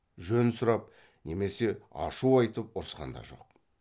жөн сұрап немесе ашу айтып ұрысқан да жоқ